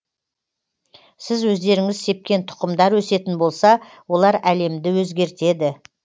сіз өздеріңіз сепкен тұқымдар өсетін болса олар әлемді өзгертеді